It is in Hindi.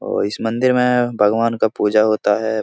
और इस मंदिर में भगवान का पूजा होता है।